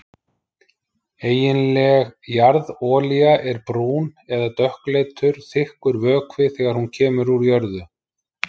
Eiginleg jarðolía er brún- eða dökkleitur, þykkur vökvi þegar hún kemur úr jörðu.